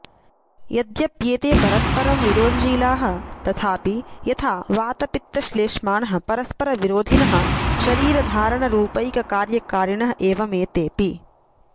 यद्यप्येते परस्परं विरोधशीलाः तथापि यथा वातपित्तश्लेष्माणः परस्परविरोधिनः शरीरधारणरूपैककार्यकारिणः एवमेतेऽपि